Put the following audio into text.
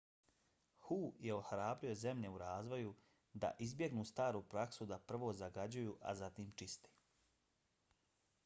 hu je ohrabrio zemlje u razvoju da izbjegnu staru praksu da prvo zagađuju a zatim čiste.